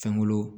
Fɛnkolo